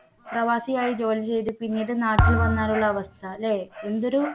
പ്രവാസിയായി ജോലി ചെയ്തു പിന്നീട് നാട്ടിൽ വന്നാൽ ഉള്ള അവസ്ഥ ല്ലേ? എന്തൊരു